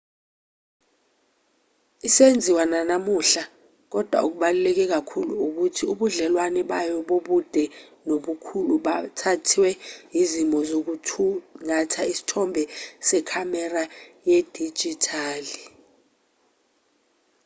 isenziwa nanamuhla kodwa okubaluleke kakhulu ukuthi ubudlelwane bayo bobude nobukhulu buthathwe izimo zokuthungatha isithombe zekhamera yedijithali